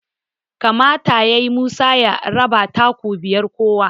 kamata yayi Musa ya raba taku biyar kowa